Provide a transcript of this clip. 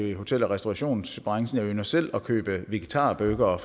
i hotel og restaurationsbranchen jeg ynder selv at købe vegetarburgere